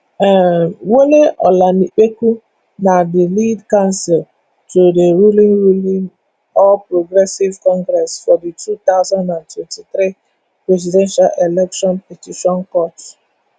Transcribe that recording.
um wole olanipekun na di lead counsel to di ruling ruling all progressives congress for di two thousand and twenty-three presidential election petition court